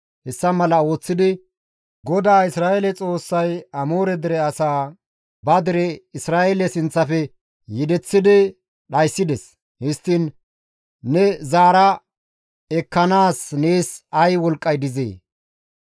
Hessa mala ooththidi GODAA Isra7eele Xoossay Amoore dere asaa ba dere Isra7eele sinththafe yedeththidi dhayssides; histtiin ne zaara ekkanaas nees ay wolqqay dizee?